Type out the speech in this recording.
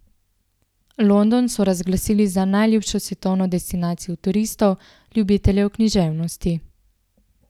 London so razglasili za najljubšo svetovno destinacijo turistov, ljubiteljev književnosti.